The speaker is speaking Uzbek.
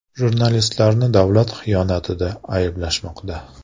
Jurnalistlarni davlatga xiyonatda ayblashmoqda.